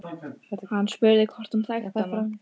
Hann spurði hvort hún þekkti hana.